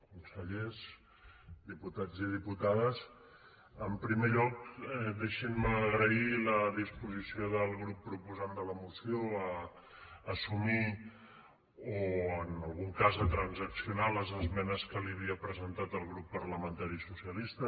consellers diputats i diputades en primer lloc deixin me agrair la disposició del grup proposant de la moció a assumir o en algun cas a transaccionar les esmenes que li havia presentat el grup parlamentari socialista